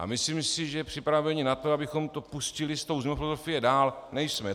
A myslím si, že připraveni na to, abychom to pustili s tou změnou filozofie dál, nejsme.